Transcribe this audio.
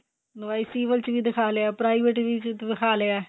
ਦਵਾਈ ਸਿਵਲ ਚ ਵੀ ਵਿਖਾ ਲਿਆ private ਵੀ ਵਿਖਾ ਲਿਆ